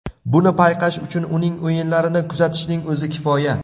Buni payqash uchun uning o‘yinlarini kuzatishning o‘zi kifoya.